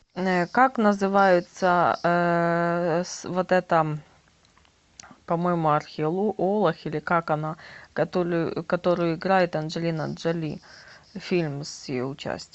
как называется вот эта по моему археолог или как она которую играет анджелина джоли фильм с ее участием